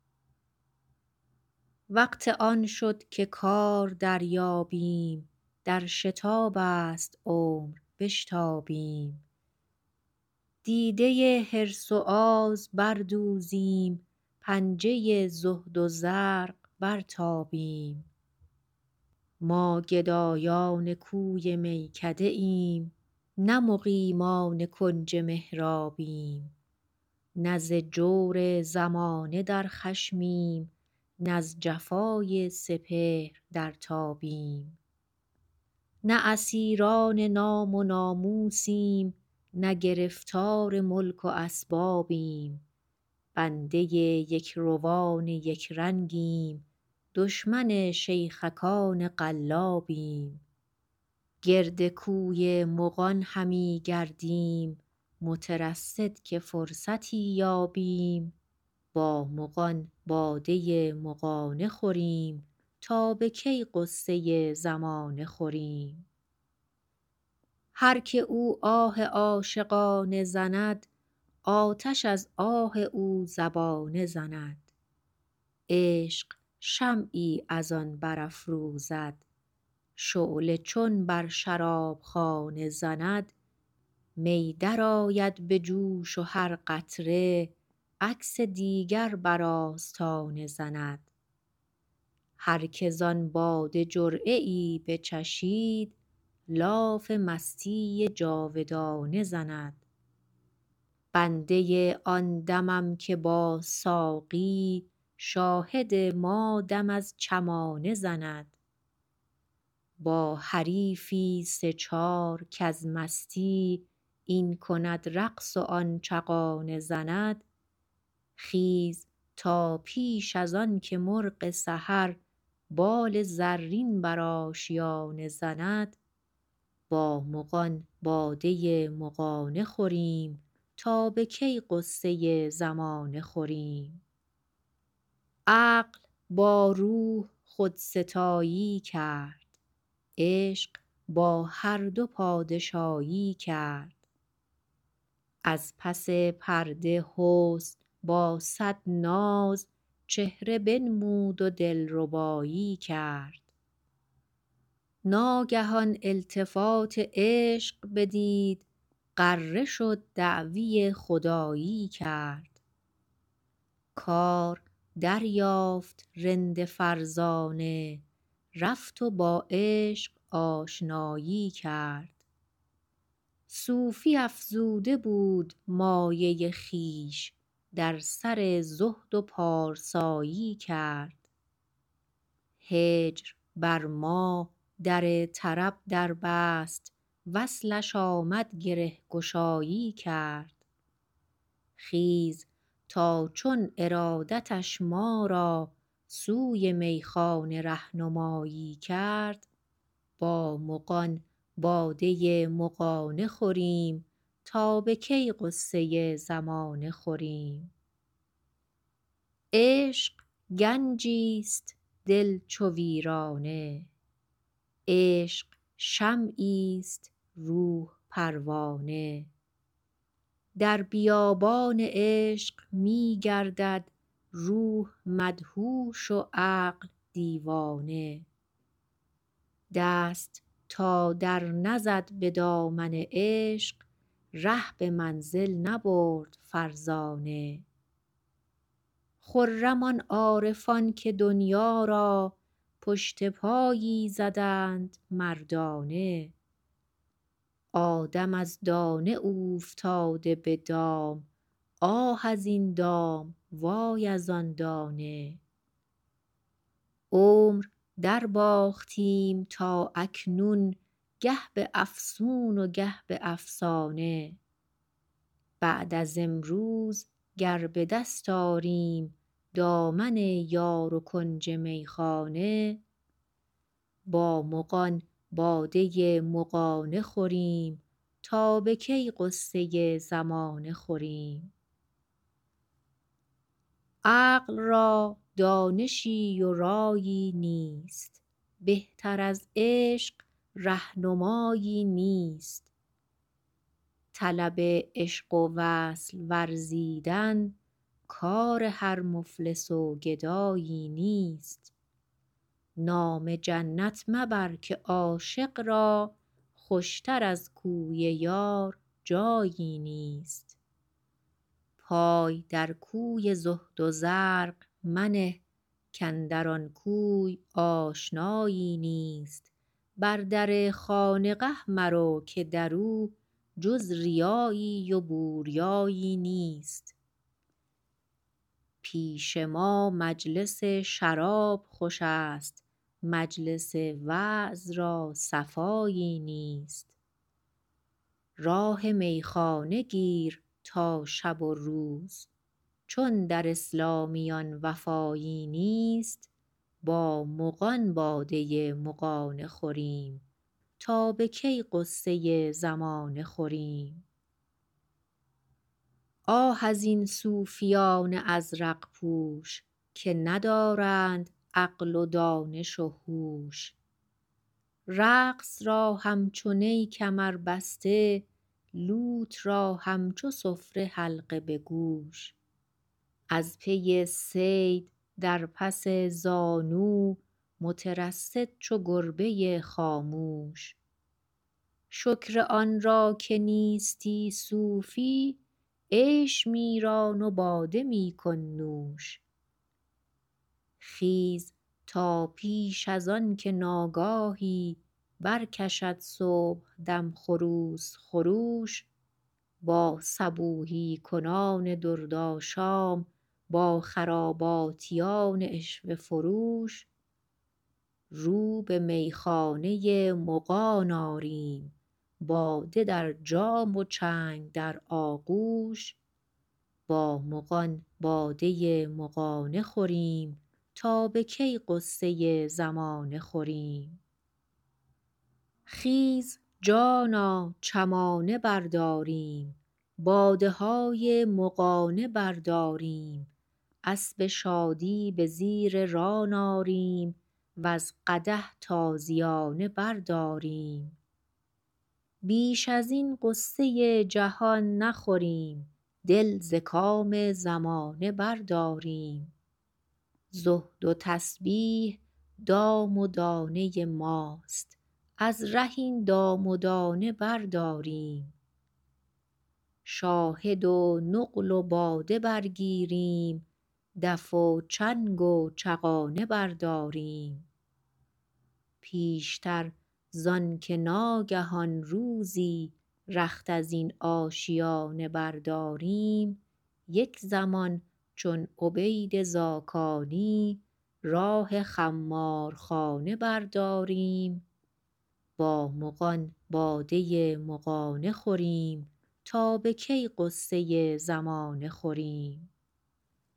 وقت آن شد که کار دریابیم در شتاب است عمر بشتابیم دیده حرص و آز بر دوزیم پنجه زهد و زرق برتابیم ما گدایان کوی میکده ایم نه مقیمان کنج محرابیم نه ز جور زمانه در خشمیم نز جفای سپهر در تابیم نه اسیران نام و ناموسیم نه گرفتار ملک و اسبابیم بنده یکروان یک رنگیم دشمن شیخکان قلابیم گرد کوی مغان همیگردیم مترصد که فرصتی یابیم با مغان باده مغانه خوریم تا به کی غصه زمانه خوریم هر که او آه عاشقانه زند آتش از آه او زبانه زند عشق شمعی از آن برافروزد شعله چون بر شرابخانه زند می درآید به جوش و هر قطره عکس دیگر بر آستانه زند هر که زان باده جرعه ای بچشید لاف مستی جاودانه زند بنده آن دمم که با ساقی شاهد ما دم از چمانه زند با حریفی سه چار کز مستی این کند رقص و آن چغانه زند خیز تا پیش از آنکه مرغ سحر بال زرین بر آشیانه زند با مغان باده مغانه خوریم تا به کی غصه زمانه خوریم عقل با روح خودستایی کرد عشق با هر دو پادشایی کرد از پس پرده حسن با صد ناز چهره بنمود و دلربایی کرد ناگهان التفات عشق بدید غره شد دعوی خدایی کرد کار دریافت رند فرزانه رفت و با عشق آشنایی کرد صوفی افزوده بود مایه خویش در سر زهد و پارسایی کرد هجر بر ما در طرب در بست وصلش آمد گره گشایی کرد خیز تا چون ارادتش ما را سوی میخانه ره نمایی کرد با مغان باده مغانه خوریم تا به کی غصه زمانه خوریم عشق گنجیست دل چو ویرانه عشق شمعیست روح پروانه در بیابان عشق میگردد روح مدهوش و عقل دیوانه دست تا در نزد به دامن عشق ره به منزل نبرد فرزانه خرم آن عارفان که دنیا را پشت پایی زدند مردانه آدم از دانه اوفتاده به دام آه از این دام وای از آن دانه عمر در باختیم تا اکنون گه به افسون و گه به افسانه بعد از امروز گر به دست آریم دامن یار و کنج میخانه با مغان باده مغانه خوریم تا به کی غصه زمانه خوریم عقل را دانشی و رایی نیست بهتر از عشق رهنمایی نیست طلب عشق و وصل ورزیدن کار هر مفلس و گدایی نیست نام جنت مبر که عاشق را خوشتر از کوی یار جایی نیست پای در کوی زهد و زرق منه کاندر آن کوی آشنایی نیست بر در خانقه مرو که در او جز ریایی و بوریایی نیست پیش ما مجلس شراب خوشست مجلس وعظ را صفایی نیست راه میخانه گیر تا شب و روز چون در اسلامیان وفایی نیست با مغان باده مغانه خوریم تا به کی غصه زمانه خوریم آه از این صوفیان ازرق پوش که ندارند عقل و دانش و هوش رقص را همچو نی کمر بسته لوت را همچو سفره حلقه بگوش از پی صید در پس زانو مترصد چو گربه خاموش شکر آنرا که نیستی صوفی عیش میران و باده میکن نوش خیز تا پیش آنکه ناگاهی برکشد صبحدم خروس خروش با صبوحی کنان درد آشام با خراباتیان عشوه فروش رو به میخانه مغان آریم باده در جام و چنگ در آغوش با مغان باده مغانه خوریم تا به کی غصه زمانه خوریم خیز جانا چمانه برداریم باده های مغانه برداریم اسب شادی به زیر ران آریم و ز قدح تازیانه برداریم بیش از این غصه جهان نخوریم دل ز کام زمانه برداریم زهد و تسبیح دام و دانه ماست از ره این دام و دانه برداریم شاهد و نقل و باده برگیریم دف و چنگ و چغانه برداریم پیشتر زآنکه ناگهان روزی رخت از این آشیانه برداریم یک زمان چون عبید زاکانی راه خمارخانه برداریم با مغان باده مغانه خوریم تا به کی غصه زمانه خوریم